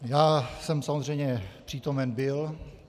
Já jsem samozřejmě přítomen byl.